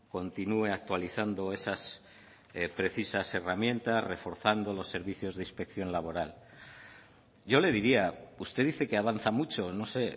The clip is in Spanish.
continúe actualizando esas precisas herramientas reforzando los servicios de inspección laboral yo le diría usted dice que avanza mucho no sé